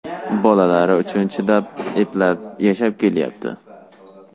Bolalari uchun chidab, eplab, yashab kelyapti.